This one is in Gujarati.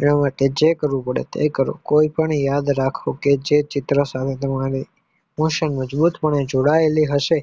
એના માટે જ કરવું પડે એ કરો કોઈ પણ યાદ રાખો કે જે ચિત્ર સામે જે પાળે જોવાયેલું હશે